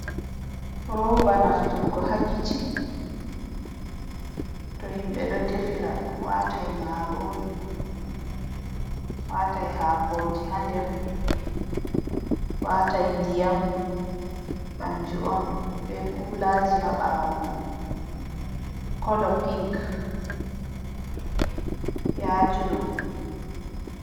Roba nafturgo ha kicin, to himɓɓe ɗo defira marori watai hakoji ha nder, watai ndiyam, kanju on be kulaji ha ɓawo mai, kolo pink ya juɗɗum.